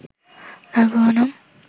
তার পুরো নাম